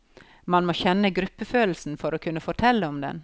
Man må kjenne gruppefølelsen for å kunne fortelle om den.